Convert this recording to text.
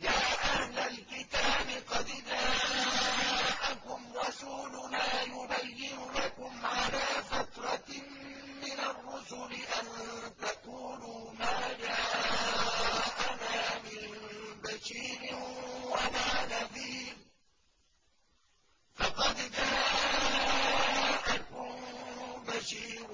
يَا أَهْلَ الْكِتَابِ قَدْ جَاءَكُمْ رَسُولُنَا يُبَيِّنُ لَكُمْ عَلَىٰ فَتْرَةٍ مِّنَ الرُّسُلِ أَن تَقُولُوا مَا جَاءَنَا مِن بَشِيرٍ وَلَا نَذِيرٍ ۖ فَقَدْ جَاءَكُم بَشِيرٌ